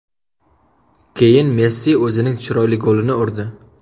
Keyin Messi o‘zining chiroyli golini urdi.